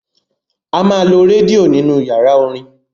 A máa lo rédíò nínú yàrá orin.